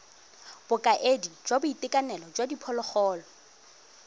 bokaedi jwa boitekanelo jwa diphologolo